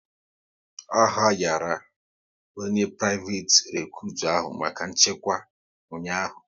A hayara onye priveti recutu ahụ maka nchekwa ụnyaahụ